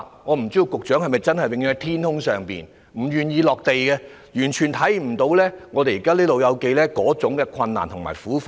我不知道局長是否永遠待在天空上，不願意"落地"，完全看不到香港"老友記"現時的困難和苦況。